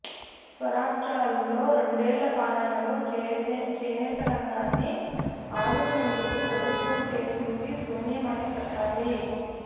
స్వరాష్ట్రంలో రెండేండ్ల పాలనలో చేనేతరంగాన్ని ఆదు కునేందుకు ప్రభుత్వం చేసింది శూన్యమనే చెప్పాలి